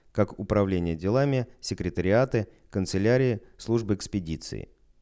как управление делами секретариаты канцелярии службы экспедиции